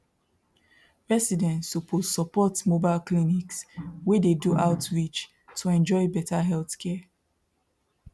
residents suppose support mobile clinics wey dey do outreach to enjoy better healthcare